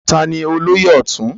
Taani olóyè ọ̀tún?